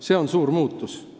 See on suur muutus.